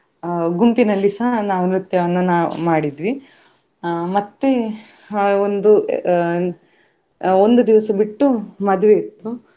ಅಹ್ ಗುಂಪಿನಲ್ಲಿ ಸ ನಾವ್ ನೃತ್ಯವನ್ನು ನಾವ್ ಮಾಡಿದ್ವಿ ಅಹ್ ಮತ್ತೆ ಅಹ್ ಒಂದು ಅಹ್ ಅಹ್ ಒಂದು ದಿವ್ಸ ಬಿಟ್ಟು ಮದುವೆ ಇತ್ತು.